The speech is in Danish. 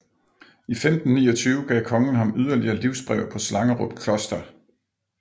I 1529 gav kongen ham yderligere livsbrev på Slangerup Kloster